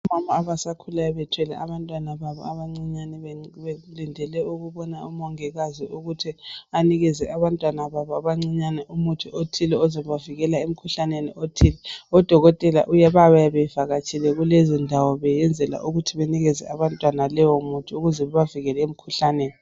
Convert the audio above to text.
Omama abasakhulayo bethwele abantwana babo abancinyane belindele ukubona omongikazi ukuthi anikeze abantwana babo abancinyane umuthi othile ozabavikela emkhuhlaneni othile. Odokotela babuya bevakatshile kulezondawo beyenzela ukuthi benikeze abantwana leyomuthi ukuze bebavikele emkhuhlaneni.